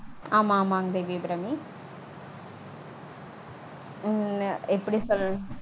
ஆமா ஆமாங் தேவி அபிராமி. உம் எப்படி சொல்றது